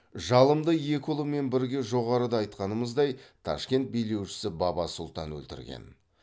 жалымды екі ұлымен бірге жоғарыда айтқанымыздай ташкент билеушісі баба сұлтан өлтірген